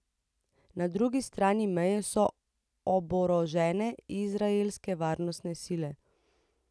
Na drugi strani meje so oborožene izraelske varnostne sile.